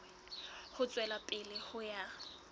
ho tswela pele ho ya